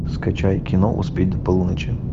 скачай кино успеть до полуночи